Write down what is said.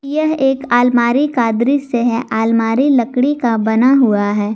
यह एक अलमारी का दृश्य है अलमारी लकड़ी का बना हुआ है।